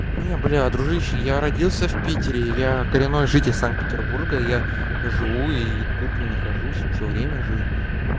не блядь дружище я родился в питере и я коренной житель санкт-петербурга и я живу и тут нахожусь всё время жил